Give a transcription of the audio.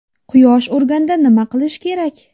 Quyosh urganda nima qilish kerak?.